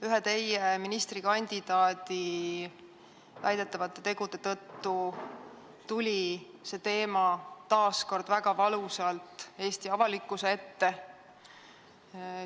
Ühe teie erakonna ministrikandidaadi väidetavate tegude tõttu tuli see teema taas kord väga valusalt Eesti avalikkuse ette.